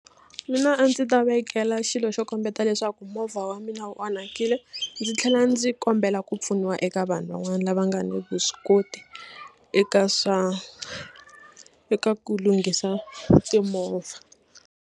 Mina a ndzi ta vekela xilo xo kombeta leswaku movha wa mina wu onhakile ndzi tlhela ndzi kombela ku pfuniwa eka vanhu van'wana lava nga ni vuswikoti eka swa eka ku lunghisa timovha.